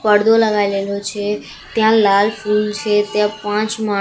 પડદો લગાડેલો છે ત્યાં લાલ ફુલ છે ત્યાં પાંચ માં--